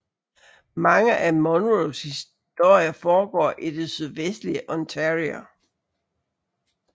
Mange af Munros historier foregår i det sydvestlige Ontario